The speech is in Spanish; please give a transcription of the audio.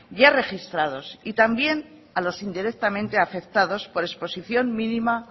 ya registrados y también a los indirectamente afectados por exposición mínima